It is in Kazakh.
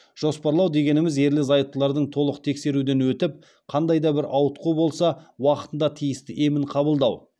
жоспарлау дегеніміз ерлі зайыптылардың толық тексеруден өтіп қандай да бір ауытқу болса уақытында тиісті емін қабылдау